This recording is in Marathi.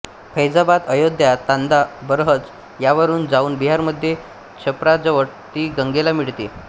फैजाबाद अयोध्या तांदा बरहज यांवरून जाऊन बिहारमध्ये छप्राजवळ ती गंगेला मिळते